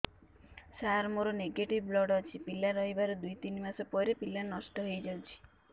ସାର ମୋର negative blood ଅଛି ପିଲା ରହିବାର ଦୁଇ ତିନି ମାସ ପରେ ପିଲା ନଷ୍ଟ ହେଇ ଯାଉଛି